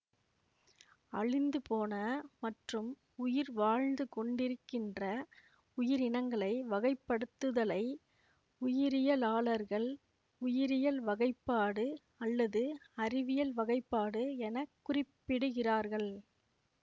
அழிந்துபோன மற்றும் உயிர் வாழ்ந்து கொண்டிருக்கின்ற உயிரினங்களை வகைப்படுத்துதலை உயிரியலாளர்கள் உயிரியல் வகைப்பாடு அல்லது அறிவியல் வகைப்பாடு என குறிப்பிடுகிறார்கள்